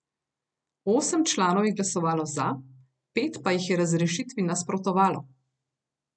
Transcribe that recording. Osem članov je glasovalo za, pet pa jih je razrešitvi nasprotovalo.